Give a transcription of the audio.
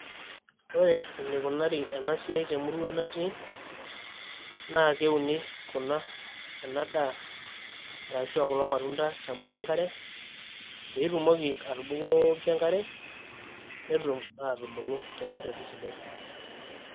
ore enikunari ena siai temurua natii naa keuni kuna ena daa arashu aa kulo matunda tembata enkare pee itumoki atubukoki enkare netum aatubullu torkerreti sidai.